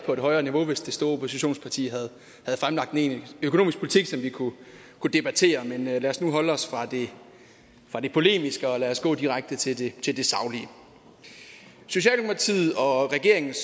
på et højere niveau hvis det store oppositionsparti havde fremlagt en egentlig økonomisk politik som vi kunne debattere men lad os nu holde os fra det polemiske og gå direkte til det til det saglige socialdemokratiet og regeringens